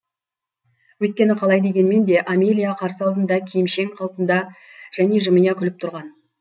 өйткені қалай дегенмен де амелия қарсы алдында киімшең қалпында және жымия күліп тұрған